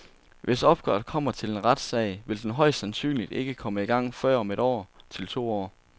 Hvis opgøret kommer til en retssag, vil den højst sandsynligt ikke komme i gang før om et til to år.